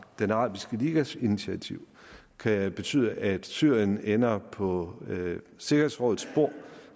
den arabiske ligas initiativ kan betyde at syrien ender på sikkerhedsrådets bord